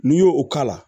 N'i y'o o k'a la